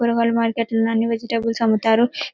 కూరగాయలు మార్కెట్ లో అన్ని వెజిటల్స్ అమ్ముతారు --